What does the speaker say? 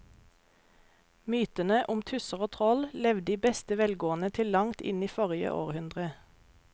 Mytene om tusser og troll levde i beste velgående til langt inn i forrige århundre.